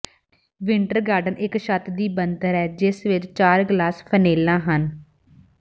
winter garden ਇਕ ਛੱਤ ਦੀ ਬਣਤਰ ਹੈ ਜਿਸ ਵਿਚ ਚਾਰ ਗਲਾਸ ਫਨੇਲਾਂ ਹਨ